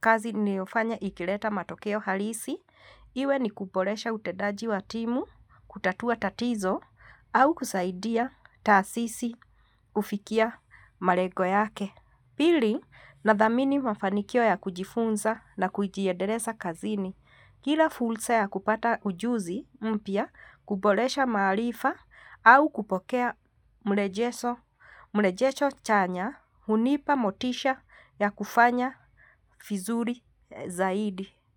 kazi ninayofanya ikileta matokeo halisi, iwe ni kuboresha utendaji wa timu, kutatua tatizo, au kusaidia taasisi kufikia malengo yake. Pili nathamini mafanikio ya kujifunza na kujiendeleza kazini. Kila fursa ya kupata ujuzi mpya kuboresha maarifa au kupokea mrejesho chanya hunipa motisha ya kufanya vizuri zaidi.